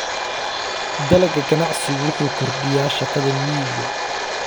Dalagga ganacsigu wuxuu kordhiyaa shaqada miyiga.